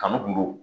Kanu kun don